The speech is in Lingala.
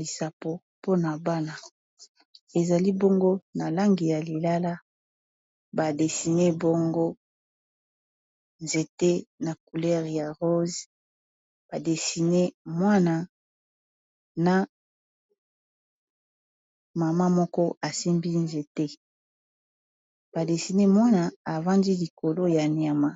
lisapo mpona bana ezali bongo na lange ya lilala badesine bongo nzete na coulere ya rose badesine mwana na mama moko asimbi nzete badesine mwana avandi likolo ya nyama